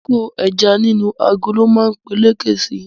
Kíkó ẹja nínú agolo ma peléke si